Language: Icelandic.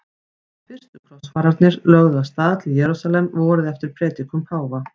Fyrstu krossfararnir lögðu af stað til Jerúsalem vorið eftir predikun páfa.